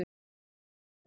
Kata var ekki komin.